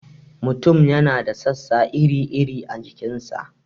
Mutum yana da sassa iri-iri a jikin sa.